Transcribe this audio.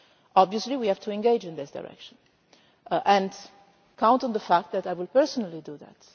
Obviously we have to engage in this direction and you can count on the fact that I will personally do that.